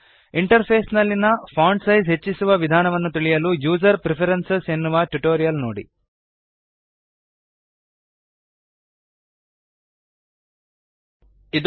interface ನಲ್ಲಿಯ font size ಹೆಚ್ಚಿಸುವ ವಿಧಾನವನ್ನು ತಿಳಿಯಲು ಯುಸರ್ ಪ್ರೆಫರೆನ್ಸಸ್ ಯುಸರ್ ಪ್ರಿಫರನ್ಸೆಸ್ ಎನ್ನುವ ಟ್ಯುಟೋರಿಯಲ್ ನೋಡಿ